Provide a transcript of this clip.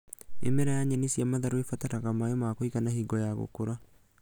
Mĩmera ya nyeni cia matharũ ĩbataraga maĩ ma kũigana hingo ya gũkũra